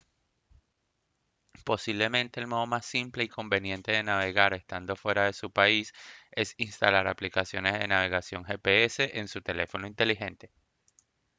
posiblemente el modo más simple y conveniente de navegar estando fuera de su país es instalar aplicaciones de navegación gps en su teléfono inteligente